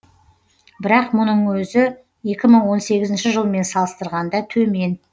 бірақ мұның өзі екі мың он сегізінші жылмен салыстырғанда төмен